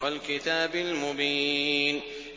وَالْكِتَابِ الْمُبِينِ